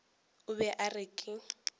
o be a re ke